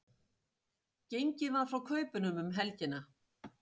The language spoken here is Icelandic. Gengið var frá kaupunum um helgina